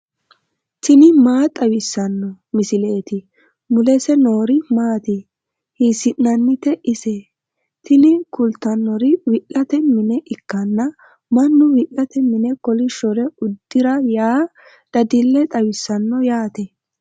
tini maa xawissanno misileeti ? mulese noori maati ? hiissinannite ise ? tini kultannori wi'late mine ikkanna mannu wi'late mine kolishshore uddira yaa dadille xawissanno yaate.